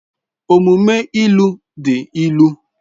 Omume ilu dị ilu